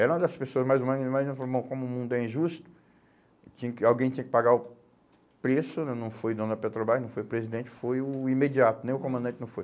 Era uma das pessoas mais ou menos, como o mundo é injusto, tinha que alguém tinha que pagar o preço né, não foi dono Petrobras, não foi presidente, foi o imediato, nem o comandante não foi.